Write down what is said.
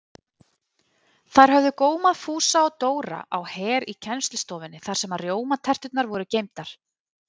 Þær höfðu gómað Fúsa og Dóra á Her í kennslustofunni þar sem rjómaterturnar voru geymdar.